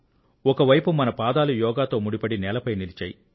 ఒకవైపు మన పాదాలు యోగంతో ముడిపడి నేలపై నిలిచాయి